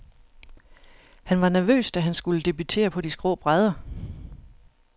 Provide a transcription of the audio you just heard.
Han var nervøs, da han skulle debutere på de skrå brædder.